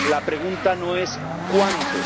La pregunta no es ¿cuántos?